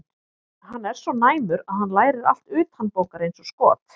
Hann er svo næmur að hann lærir allt utanbókar eins og skot.